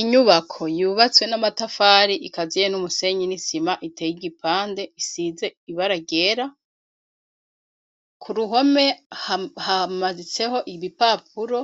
Inyubako yubatse n'amatafari ikaziye n'umusenyi n`isima iteye igipande isize ibara ryera ku ruhome hamaditseko igipapuro